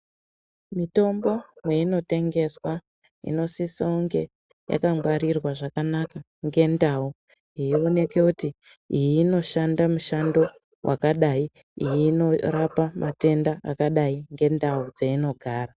Mitombo meinotemgeswa inosise kunge yakangwarirwa zvakanaka ngendau yeioneke kuti iyi inoshanda mishando yakadai , iyi inorapa matenda akadai ngendau dzeinogara.